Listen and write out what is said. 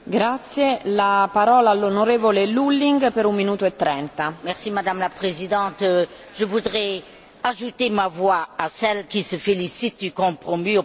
Madame la Présidente, je voudrais ajouter ma voix à celles qui se félicitent du compromis obtenu par le Parlement européen en matière de supervision financière.